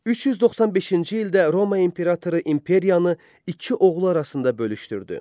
395-ci ildə Roma imperatoru imperiyanı iki oğlu arasında bölüşdürdü.